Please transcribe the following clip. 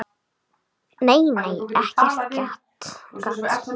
Nei, nei, ekkert gat!